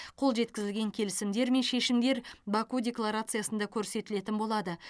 қол жеткізілген келісімдер мен шешімдер баку декларациясында көрсетілетін болады